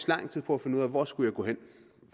lang tid på at finde ud af hvor jeg skulle gå hen